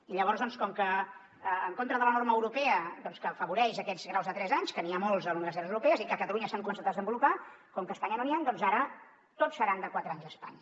i llavors doncs en contra de la norma europea que afavoreix aquests graus de tres anys que n’hi ha molts a les universitats europees i que a catalunya s’han començat a desenvolupar com que a espanya no n’hi han doncs ara tots seran de quatre anys a espanya